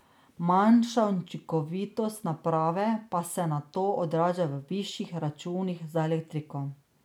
Manjša učinkovitost naprave pa se nato odraža v višjih računih za elektriko.